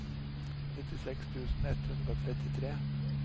nittiseks tusen ett hundre og trettitre